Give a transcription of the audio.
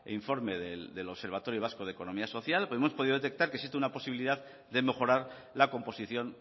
informe del observatorio vasco de economía social pero hemos podido detectar que existe una posibilidad de mejorar la composición